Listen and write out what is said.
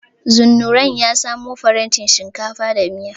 Zunnurain ya samo farantin shinkafa da miya.